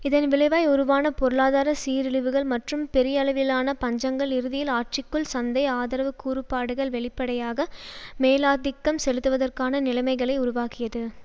இதன் விளைவாய் உருவான பொருளாதார சீரழிவுகள் மற்றும் பெரியளவிலான பஞ்சங்கள் இறுதியில் ஆட்சிக்குள் சந்தை ஆதரவு கூறுபாடுகள் வெளிப்படையாக மேலாதிக்கம் செலுத்துவதற்கான நிலைமைகளை உருவாக்கியது